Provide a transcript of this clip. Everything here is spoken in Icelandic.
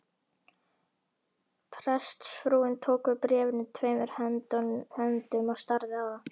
Prestsfrúin tók við bréfinu tveimur höndum og starði á það.